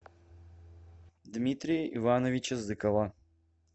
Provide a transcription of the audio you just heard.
дмитрия ивановича зыкова